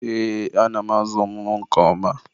Ee, ana m ázụ̀ ụmụ m nke oma.